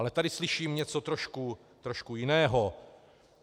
Ale tady slyším něco trošku jiného.